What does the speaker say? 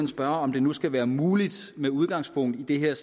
spørge om det nu skal være muligt med udgangspunkt i det her